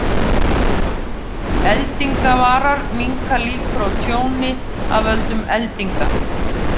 Eldingavarar minnka líkur á tjóni af völdum eldinga.